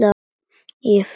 Ég fel hatrið.